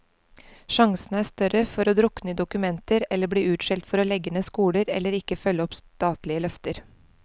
Sjansene er større for å drukne i dokumenter eller bli utskjelt for å legge ned skoler, eller ikke følge opp statlige løfter.